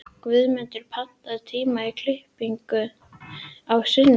Guðmundur, pantaðu tíma í klippingu á sunnudaginn.